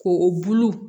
Ko o bulu